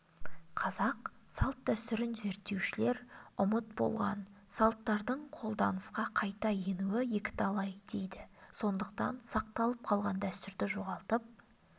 қазақ салт-дәстүрін зертеушілер ұмыт болған салттардың қолданысқа қайта енуі екіталай дейді сондықтан сақталып қалған дәстүрді жоғалтып